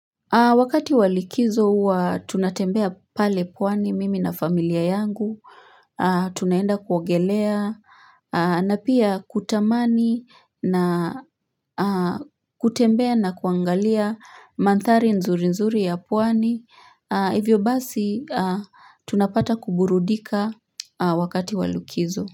Wakati wa likizo huwa tunatembea pale pwani mimi na familia yangu, tunaenda kuogelea, na pia kutamani na kutembea na kuangalia manthari nzuri nzuri ya pwani, hivyo basi tunapata kuburudika wakati walikizo.